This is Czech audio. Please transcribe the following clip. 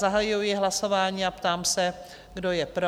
Zahajuji hlasování a ptám se, kdo je pro?